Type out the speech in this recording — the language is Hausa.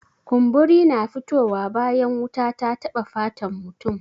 Kumburi na fito wa bayan wuta ta taɓa fatan mutum